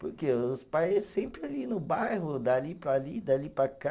Porque os pais sempre ali no bairro, dali para ali, dali para cá.